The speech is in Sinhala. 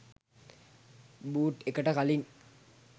බූට් එකට කලින්